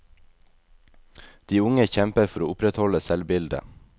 De unge kjemper for å opprettholde selvbildet.